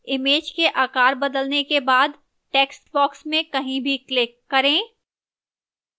image का आकार बदलने के बाद textbox में कहीं भी click करें